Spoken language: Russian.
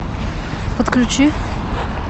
подключи